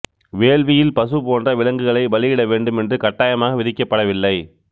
வேள்வியில் பசு போன்ற விலங்குகளை பலி இட வேண்டும் என்று கட்டாயமாக விதிக்கப்படவில்லை